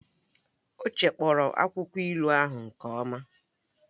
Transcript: Ọ chekpọrọ akwụkwọ ilu ahụ nke ọma